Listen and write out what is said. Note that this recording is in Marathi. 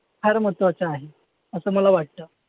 फार महत्वाचं आहे असं मला वाटतं.